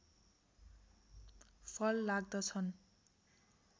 फल लाग्दछन्